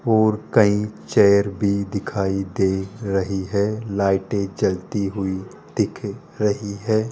और कई चेयर भी दिखाई दे रही है लाइटे जलती हुई दिख रही है।